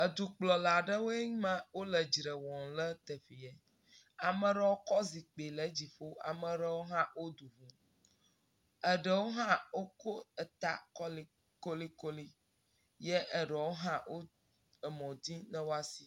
Edukplɔla aɖewoe ma le edzre wum le teƒee, ame aɖewo kɔ zikpee le edzi ƒo, ameaeɖow le du ʋum, ame aɖewo hã ko ta kolekolekole ye aɖewo hã le mɔ dim ne woasi.